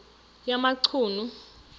yamachunu